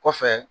Kɔfɛ